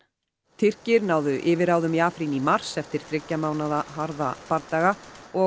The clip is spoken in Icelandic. Tyrkir náðu yfirráðum í Afrín í mars eftir þriggja mánaða harða bardaga